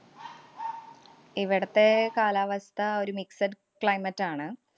ഇവിടത്തെ കാലാവസ്ഥ ഒരു mixed climate ആണ്.